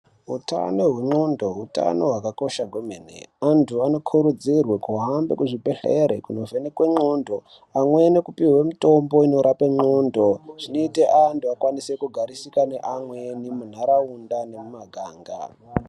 Utano hwendxondo utano hwakakosha kwemene. Antu anokurudzirwe kuhambe kuzvibhedhlere kunovhenekwe ndxondo, amwe nekupihwe mitombo inorape ndxondo. Zvinoite antu akwanise kugarisika neamweni muntaraunda nemumaganga.